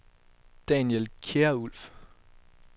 Daniel Kjærulff